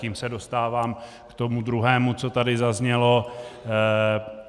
Tím se dostávám k tomu druhému, co tady zaznělo.